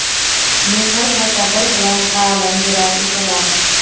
Mehr va sabr bilan ta’lim berar edilar.